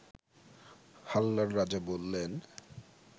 হাল্লার রাজা বললেন